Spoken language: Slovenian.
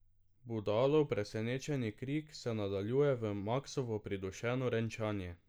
Budalov presenečeni krik se nadaljuje v Maksovo pridušeno renčanje.